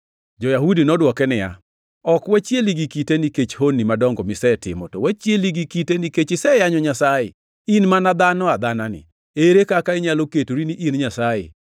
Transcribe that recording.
Jo-Yahudi nodwoke niya, “Ok wachieli gi kite nikech honni madongo misetimo, to wachieli gi kite nikech iseyanyo Nyasaye. In mana dhano adhanani, ere kaka inyalo ketori ni in Nyasaye?”